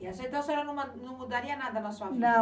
E então a senhora não mudaria nada na sua vida? não.